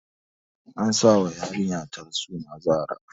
An sa wa yarinyata suna Zara